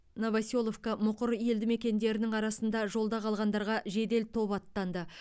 новоселовка мұқыр елдімекендерінің арасында жолда қалғандарға жедел топ аттанды